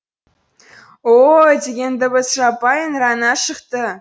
о о о деген дыбыс жаппай ыңырана шықты